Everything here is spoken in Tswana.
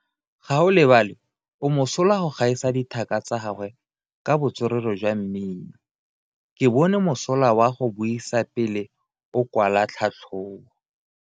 Gaolebalwe o mosola go gaisa dithaka tsa gagwe ka botswerere jwa mmino. Ke bone mosola wa go buisa pele o kwala tlhatlhobo.